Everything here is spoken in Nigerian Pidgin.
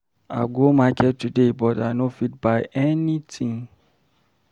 I go market today but I no fit buy anything.